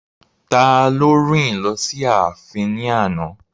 Taló rìn lọ sí ààfin náà ní àná?